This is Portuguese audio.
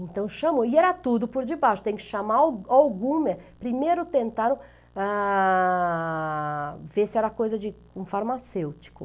Então chamou, e era tudo por debaixo, tem que chamar al alguma, primeiro tentaram ah... Ver se era coisa de um farmacêutico.